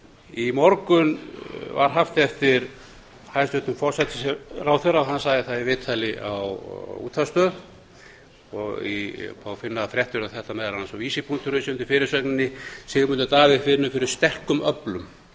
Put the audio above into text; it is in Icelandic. í morgun var haft eftir hæstvirtum forsætisráðherra hann sagði það í viðtali á útvarpsstöð og má finna fréttir um þetta meðal annars á visir punktur is undir fyrirsögninni sigmundur davíð finnur fyrir sterkum öflum